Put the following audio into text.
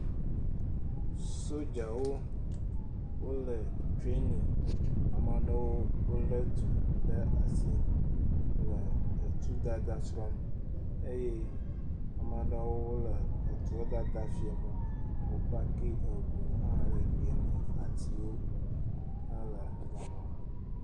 Sodzawo, wole trani, ame aɖewo lé tu ɖe asi le tudada srɔ̃m eye ame aɖewo le tuadada fiam wo, wo paki ŋu hã le gbeme, atiwo hã le gema.